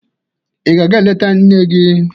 Ị ga-aga eleta nne gị?